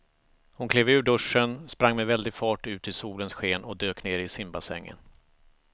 Hon klev ur duschen, sprang med väldig fart ut i solens sken och dök ner i simbassängen.